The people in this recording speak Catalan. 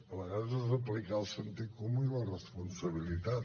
a vegades és aplicar el sentit comú i la responsabilitat